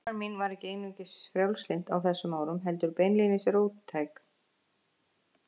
Því kona mín var ekki einungis frjálslynd á þessum árum, heldur beinlínis róttæk.